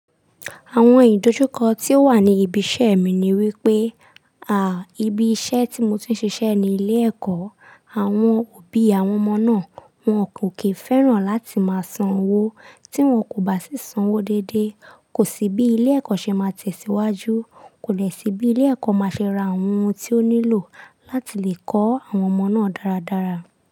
Àwọn ìdojúkọ tí ó wà ní ibi iṣẹ́ mi ni wípé, a, ibi iṣẹ́ tí mo ti ń ṣiṣẹ́ ní ilé ẹ̀kọ́, àwọn òbí àwọn ọmọ náà wọn kò kí fẹ́ràn láti máa san owó tí wọn kò bá sì ń san owó dédé. Kò sí bí ilé ẹ̀kọ́ ṣe máa tẹ̀síwájú, kò dẹ sí bí ilé ẹ̀kọ́ máa ṣe ra àwọn ohun tí ó nílò láti lè kọ́ àwọn ọmọ náà dáradára.